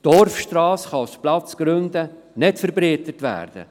Die Dorfstrasse kann aus Platzgründen nicht verbreitert werden.